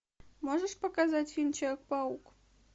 можешь показать фильм человек паук